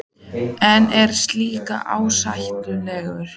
En er slíkt ásættanlegt?